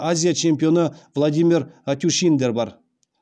азия чемпионы владимир атюшиндер бар